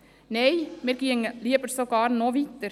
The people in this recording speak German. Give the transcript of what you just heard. Nein, lieber gingen wir noch weiter.